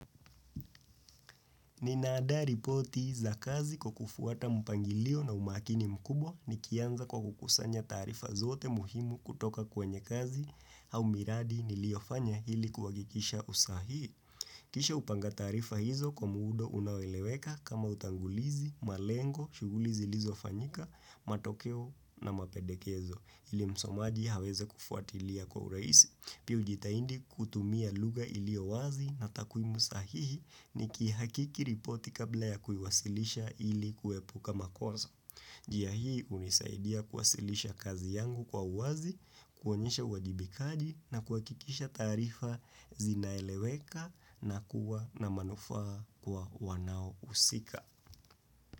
Ninaadaa ripoti za kazi kwa kufuata mpangilio na umakini mkubwa nikianza kwa kukusanya taarifa zote muhimu kutoka kwenye kazi au miradi niliofanya hili kuhakikisha usahihi. Kisha hupanga taarifa hizo kwa muda unaoeleweka kama utangulizi, malengo, shughuli zilizofanyika, matokeo na mapendekezo. Ili msomaji aweze kufuatilia kwa urahisi. Pi hujitahidi kutumia lugha iliyo wazi na takwimu sahihi nikihakiki ripoti kabla ya kuiwasilisha ili kuepuka makosa. Njia hii hunisaidia kuwasilisha kazi yangu kwa uwazi, kuonyesha uwajibikaji na kuhakikisha taarifa zinaeleweka na kuwa na manufaa kwa wanaohusika.